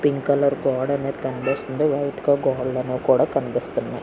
Pink colour గోడ అనేది కనిపిస్తుంది. వైట్ కలర్ గోడలనేవి కూడా కనిపిస్తున్నాయ్.